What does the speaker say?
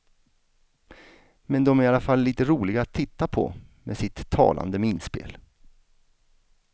Men de är i alla fall lite roliga att titta på med sitt talande minspel.